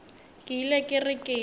ke ile ke re ke